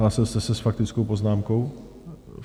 Hlásil jste se s faktickou poznámkou?